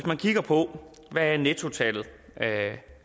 man kigger på hvad nettotallet er kan